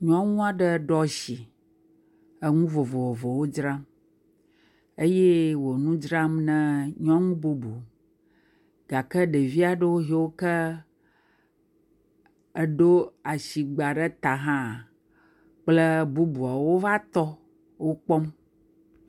Nyɔŋua ɖe eɖo atsi eŋu vovovowo dzram, eye wo nu dzram ne nyɔnu bubu gake ɖevia ɖo yiɔ ke edo atsi ɖe ta hã kple bubuɔwo va tɔ wokpɔm.